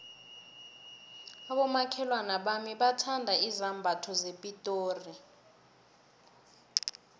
abomakhelwana bami bathanda izambatho zepitori